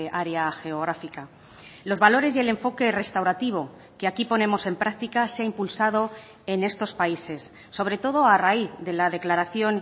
área geográfica los valores y el enfoque restaurativo que aquí ponemos en práctica se ha impulsado en estos países sobre todo a raíz de la declaración